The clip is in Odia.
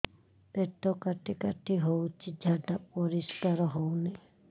ପେଟ କାଟି କାଟି ହଉଚି ଝାଡା ପରିସ୍କାର ହଉନି